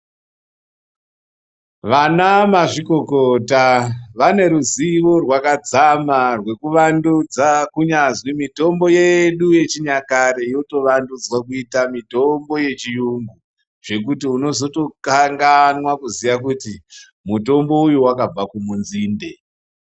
Vana mazvikokota vane ruzivo rwakadzama rwekuvandudza kunyazwi mutombo yedu yechinyakare yotovandudzwa kuita mutombo yechiyungu zvekuti unozotokanganwa kuziya khti mutombo uyu wakabva kumunzinde..